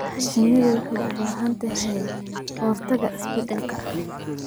Shinnidu waxay u baahan tahay ka-hortagga isbeddelka.